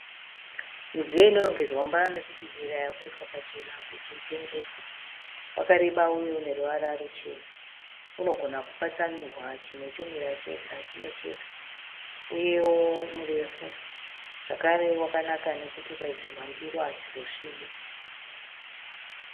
Midziyo inorongedzwa mumba mekubikira wakaiswa pachena kuti utengeswe . Wakareba uye une ruvara ruchena . Unogona kupatsanurwa chimwe chomira chega chimwe chega . Uyewo murefu zvakare wakanaka kuti ukaisirwa ndiro hadzizosvibi.